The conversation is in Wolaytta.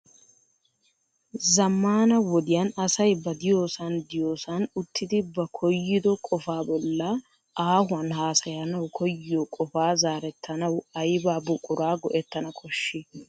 Zammana wodiyan asay ba diyoosan diyoosan uttidi ba koyyido qofa bolla aahuwan haassayanaw koyyiyo qopa zorettanawu aybba buquraa go"ettana koshshii?